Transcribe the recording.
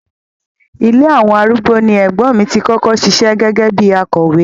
Ilé àwọn arúgbó ni ẹ̀gbọ́n mi tí kọ́kọ́ ṣiṣẹ́ gẹ́gẹ́ bíi akọ̀wé.